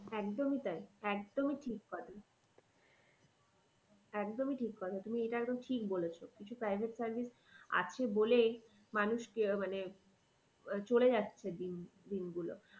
একদমই তাই একদমই ঠিক একদমই ঠিক কথা তুমি এটা একদম ঠিক বলেছো। কিছু private service আছে বলেই মানুষ আহ মানে আহ চলে যাচ্ছে দিন, দিন গুলো।